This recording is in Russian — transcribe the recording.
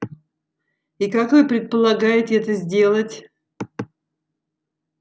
и как вы предполагаете это сделать